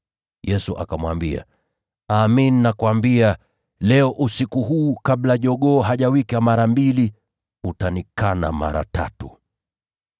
Yesu akamwambia, “Amin, nakuambia; leo, usiku huu, kabla jogoo hajawika mara mbili, wewe mwenyewe utanikana mara tatu.”